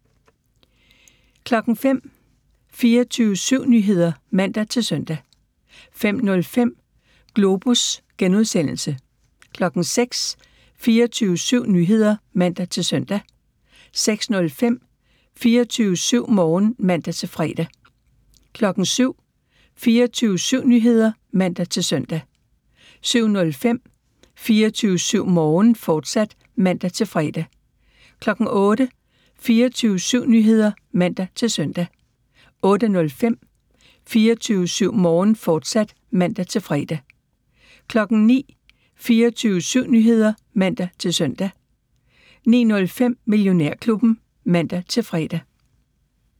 05:00: 24syv Nyheder (man-søn) 05:05: Globus (G) 06:00: 24syv Nyheder (man-søn) 06:05: 24syv Morgen (man-fre) 07:00: 24syv Nyheder (man-søn) 07:05: 24syv Morgen, fortsat (man-fre) 08:00: 24syv Nyheder (man-søn) 08:05: 24syv Morgen, fortsat (man-fre) 09:00: 24syv Nyheder (man-søn) 09:05: Millionærklubben (man-fre)